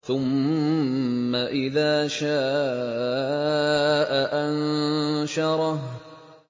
ثُمَّ إِذَا شَاءَ أَنشَرَهُ